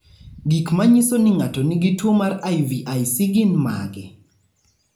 Gik manyiso ni ng'ato nigi tuwo mar IVIC gin mage?